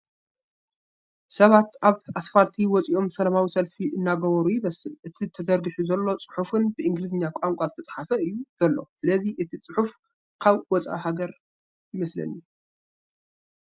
ሰባት ኣብ ኣስፋልቲ ወፂኦም ሰላማዊ ሰልፊ እንገበሩ ይመስል ፡ እቲ ተዘርጊሑ ዘሎ ፅሑፍ ብእንግሊዝኛ ቛንቋ ዝተፅሓፈ እዩ ዘሎ፡ ስለዚ እቲ ሰልፊ ኣብ ወፃእ ሓገር ይመስለኒ ።